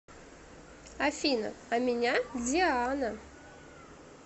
афина а меня диана